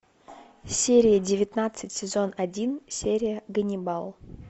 серия девятнадцать сезон один серия ганнибал